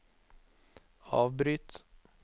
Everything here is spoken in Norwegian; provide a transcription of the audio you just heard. avbryt